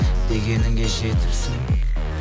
дегеніңе жетіпсің